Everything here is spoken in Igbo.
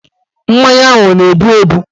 Mmanya ahụ ọ na-ebu ebu?